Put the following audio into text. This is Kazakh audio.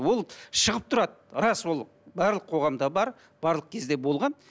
ол шығып тұрады рас ол барлық қоғамда бар барлық кезде болған